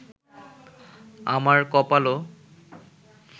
আমার কপালও